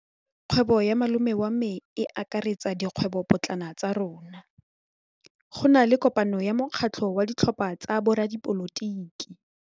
Kgwêbô ya malome wa me e akaretsa dikgwêbôpotlana tsa rona. Go na le kopanô ya mokgatlhô wa ditlhopha tsa boradipolotiki.